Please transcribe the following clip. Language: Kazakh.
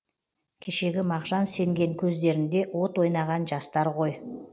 кешегі мағжан сенген көздерінде от ойнаған жастар ғой